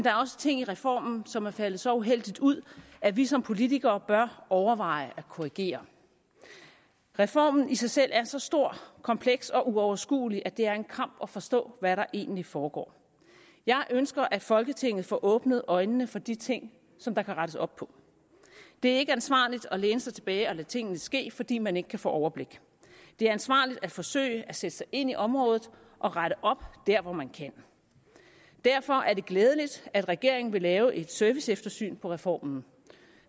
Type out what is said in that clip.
er også ting i reformen som er faldet så uheldigt ud at vi som politikere bør overveje at korrigere reformen i sig selv er så stor kompleks og uoverskuelig at det er en kamp at forstå hvad der egentlig foregår jeg ønsker at folketinget får åbnet øjnene for de ting der kan rettes op på det er ikke ansvarligt at læne sig tilbage og lade tingene ske fordi man ikke kan få overblik det er ansvarligt at forsøge at sætte sig ind i området og rette op der hvor man kan derfor er det glædeligt at regeringen vil lave et serviceeftersyn af reformen